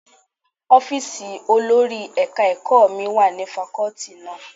Ọ́fíìsì olórí ẹ̀ka ẹ̀kọ́ mi wà ní fakọ́tì náà.